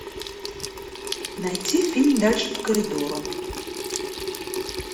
найти фильм дальше по коридору